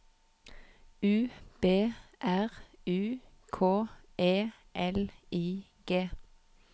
U B R U K E L I G